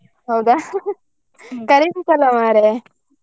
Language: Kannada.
ಹೌದಾ? ಅಲ್ಲ ಮರ್ರೆ.